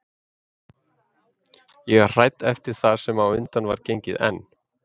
Ég var hrædd eftir það sem á undan var gengið en